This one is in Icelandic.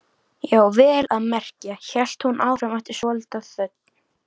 Já, vel að merkja, hélt hún áfram eftir svolitla þögn.